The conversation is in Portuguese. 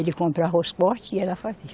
Ele comprava os corte e ela fazia.